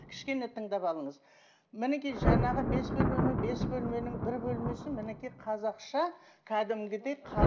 кішкене тыңдап алыңыз мінекей жаңағы бес бөлмеме бес бөлменің бір бөлмесін мінекей қазақша кәдімгідей